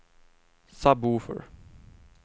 sub-woofer